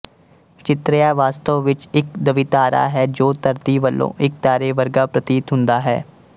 ਚਿਤਰਿਆ ਵਾਸਤਵ ਵਿੱਚ ਇੱਕ ਦਵਿਤਾਰਾ ਹੈ ਜੋ ਧਰਤੀ ਵਲੋਂ ਇੱਕ ਤਾਰੇ ਵਰਗਾ ਪ੍ਰਤੀਤ ਹੁੰਦਾ ਹੈ